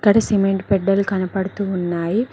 అక్కడ సిమెంట్ బెడ్డలు కనబడుతూ ఉన్నాయి.